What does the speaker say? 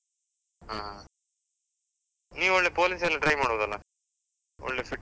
ಹಾ, ನೀ ಒಳ್ಳೆ police ಎಲ್ಲ try ಮಾಡ್ಬೋದಲ್ಲ? ಒಳ್ಳೆ fit .